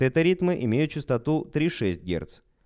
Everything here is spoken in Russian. это ритмы имеют частоту три шесть герц